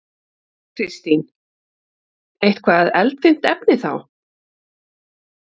Kristín: Eitthvað eldfimt efni þá?